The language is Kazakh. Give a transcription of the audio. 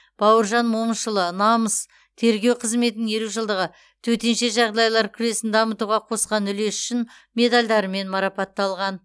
бауыржан момышұлы намыс тергеу қызметінің елу жылдығы төтенше жағдайлар жүйесін дамытуға қосқан үлесі үшін медальдарымен мараптталған